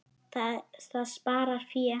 Það sparar fé.